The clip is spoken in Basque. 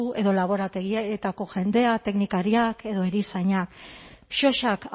edo laborategietako jendea teknikariak edo erizainak sosak